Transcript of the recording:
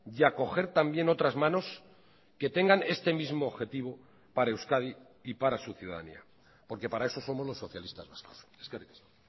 y a coger también otras manos que tengan este mismo objetivo para euskadi y para su ciudadanía porque para eso somos los socialistas vascos eskerrik asko